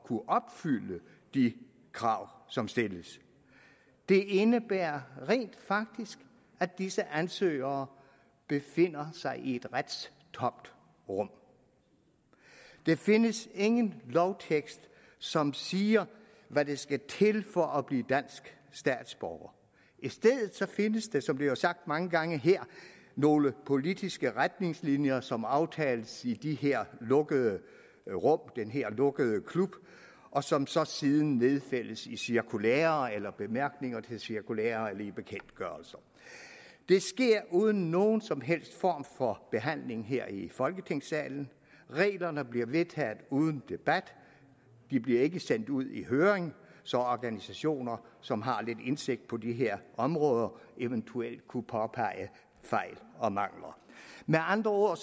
kunne opfylde de krav som stilles det indebærer rent faktisk at disse ansøgere befinder sig i et retstomt rum der findes ingen lovtekst som siger hvad der skal til for at blive dansk statsborger i stedet findes der som det er sagt mange gange her nogle politiske retningslinjer som aftales i de her lukkede rum den her lukkede klub og som så siden nedfældes i cirkulærer eller bemærkninger til cirkulærer eller i bekendtgørelser det sker uden nogen som helst form for behandling her i folketingssalen reglerne bliver vedtaget uden debat og de bliver ikke sendt ud i høring så organisationer som har lidt indsigt på de her områder eventuelt kunne påpege fejl og mangler med andre ord